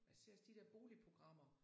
Jeg ser også de der boligprogrammer